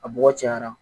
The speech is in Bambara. A bɔgɔ cayara